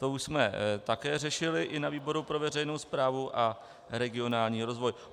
To už jsme také řešili i ve výboru pro veřejnou správu a regionální rozvoj.